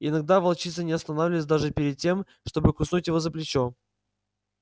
иногда волчица не останавливалась даже перед тем чтобы куснуть его за плечо